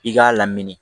I k'a lamini